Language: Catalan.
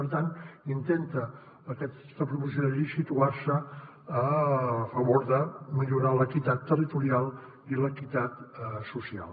per tant intenta aquesta proposició de llei situar se a favor de millorar l’equitat territorial i l’equitat social